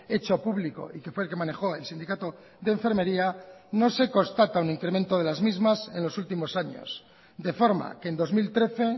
hecho público y que fue el que manejo el sindicato de enfermería no se constata un incremento de las mismas en los últimos años de forma que en dos mil trece